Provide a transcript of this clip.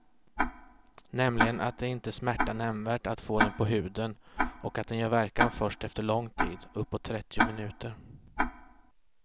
Nämligen att det inte smärtar nämnvärt att få den på huden och att den gör verkan först efter lång tid, uppåt trettio minuter.